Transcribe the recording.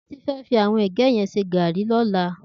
Titi fè fi áwòn ègè yèn sé gàri lòlá